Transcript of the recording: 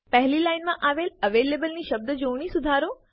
પહેલી લાઈનમાં આવેલ avalableની શબ્દજોડણી સુધારો